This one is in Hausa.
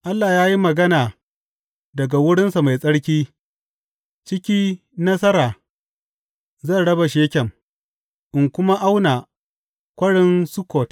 Allah ya yi magana daga wurinsa mai tsarki, Ciki nasara zan raba Shekem in kuma auna Kwarin Sukkot.